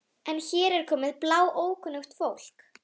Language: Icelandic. Og enn urðu þeir að endurskoða hugmyndir sínar um genið.